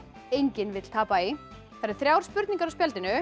enginn vill tapa í það eru þrjár spurningar á spjaldinu